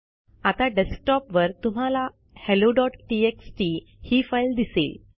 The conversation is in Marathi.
आता डेस्कटॉपवर तुम्हाला helloटीएक्सटी ही फाईल दिसेल